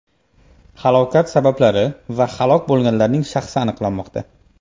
Halokat sabablari va halok bo‘lganlarning shaxsi aniqlanmoqda.